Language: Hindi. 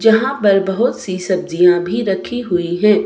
यहां पर बहुत सी सब्जियां भी रखी हुई हैं।